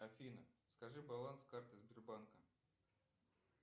афина скажи баланс карты сбербанка